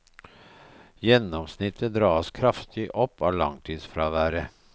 Gjennomsnittet dras kraftig opp av langtidsfraværet.